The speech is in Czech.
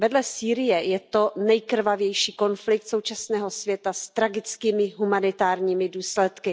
Vedle Sýrie je to nejkrvavější konflikt současného světa s tragickými humanitárními důsledky.